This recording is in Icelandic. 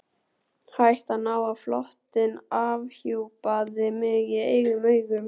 Hættan á að flóttinn afhjúpaði mig í eigin augum.